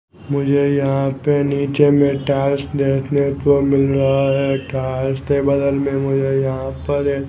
मुझे यहां पे नीचे में टाइल्स देखने को मिल रहा है टाइल्स के बगल मे मुझे यहां पर ये --